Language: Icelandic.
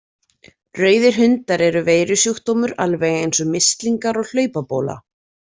Rauðir hundar eru veirusjúkdómur alveg eins og mislingar og hlaupabóla.